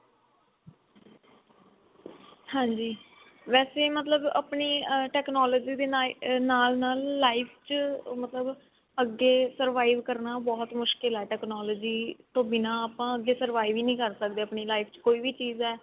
ਹਾਂਜੀ ਵੇਸੇ ਮਤਲਬ ਆਪਣੀ ਅਮ technology ਦੇ ਨਾਲ ਨਾਲ life ਚ ਮਤਬਲ ਅੱਗੇ survive ਕਰਨਾ ਬਹੁਤ ਮੁਸ਼ਕਿਲ ਹੀ technology ਤੋਂ ਬਿਨਾ ਆਪਾਂ ਅੱਗੇ survive ਹੀ ਨੀ ਕਰ ਸਕਦੇ ਆਪਣੀ life ਚ ਕੋਈ ਵੀ ਚੀਜ਼ ਹੈ